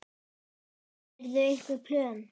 Gerirðu einhver plön?